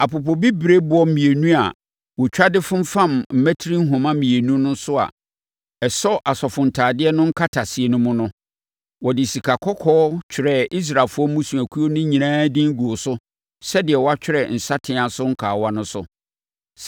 Apopobibirieboɔ mmienu a wɔtwa de fomfamm mmati nhoma mmienu no a ɛsɔ asɔfotadeɛ no nkataseɛ no mu no, wɔde sikakɔkɔɔ twerɛɛ Israelfoɔ mmusuakuo no nyinaa din guu so sɛdeɛ wɔtwerɛ nsateaa so kawa so no.